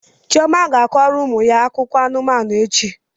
Chioma ga-akọrọ ụmụ ya akụkọ anụmanụ echi.